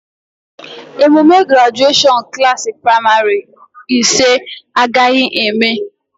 Emume grajuashọn Klassị pramarị ise agaghị eme